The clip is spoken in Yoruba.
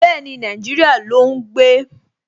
Bẹ́ẹ̀ni, Nàìjíríyà ló ún gbé